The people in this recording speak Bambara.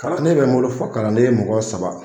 Kalan bɛ n bolo, fo kalanden ye mɔgɔ saba